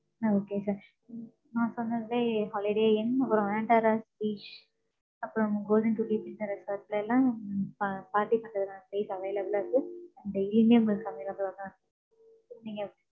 அ, okay sir நான் சொன்னதுலயே, Holiday inn ஒரு antarans beach அப்பறம் golden beach resort ல எல்லாம் pa~ party பண்றதுக்கான space available ஆ இருக்கு. And evening ல தான் இருக்கு. நீங்க